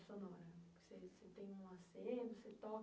sonora. Você você tem um aceno, você toca?